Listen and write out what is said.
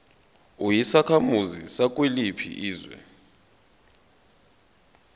uyisakhamuzi sakuliphi izwe